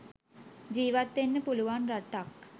ජීවත් වෙන්න පුළුවන් රටක්